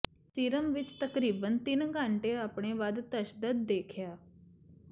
serum ਵਿੱਚ ਤਕਰੀਬਨ ਤਿੰਨ ਘੰਟੇ ਆਪਣੇ ਵੱਧ ਤਸ਼ੱਦਦ ਦੇਖਿਆ